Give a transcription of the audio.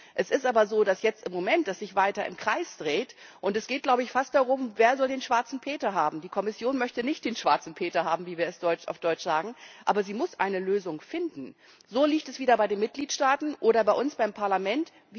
Es ist aber so, dass man sich im Moment weiter im Kreis dreht, und es geht, fast darum, wer den Schwarzen Peter haben soll. Die Kommission möchte nicht den Schwarzen Peter haben, wir es auf Deutsch sagen. Aber sie muss eine Lösung finden. So liegt es wieder bei den Mitgliedsstaaten oder bei uns, beim Parlament.